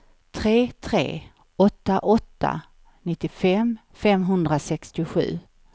tre tre åtta åtta nittiofem femhundrasextiosju